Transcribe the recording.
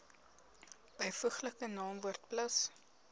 byvoeglike naamwoord plus